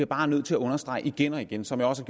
bare nødt til at understrege igen igen som jeg også